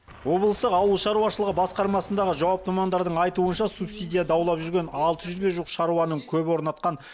облыстық ауыл шаруашылығы басқармасындағы жауапты мамандардың айтуынша субсидия даулап жүрген алты жүзге жуық шаруаның көбі орнатқан